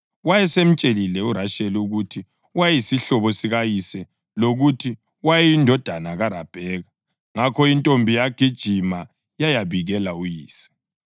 Wayesemtshelile uRasheli ukuthi wayeyisihlobo sikayise lokuthi wayeyindodana kaRabheka. Ngakho intombi yagijima yayabikela uyise.